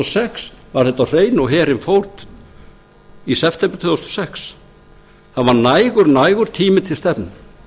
og sex var þetta á hreinu og herinn fór í september tvö þúsund og sex það var nægur nægur tími til stefnu